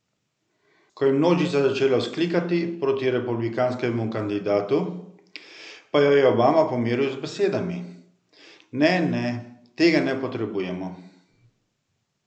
Ko je množica začela vzklikati proti republikanskemu kandidatu, pa jo je Obama pomiril z besedami: "Ne, ne, tega ne potrebujemo.